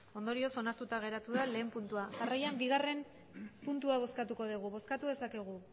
ondorioz onartuta geratu lehen puntua jarraian bigarrena puntua bozkatuko dugu bozkatu dezakegu